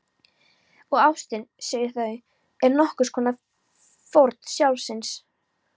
Og ástin- segja þau- er nokkurs konar fórn sjálfsins.